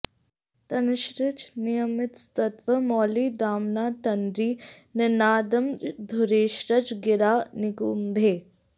तन्निश्चितं नियमितस्तव मौलि दाम्ना तन्त्री निनादमधुरैश्च गिरां निगुम्भैः